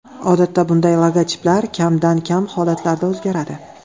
Odatda bunday logotiplar kamdan-kam holatlarda o‘zgaradi.